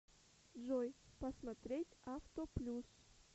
джой посмотреть авто плюс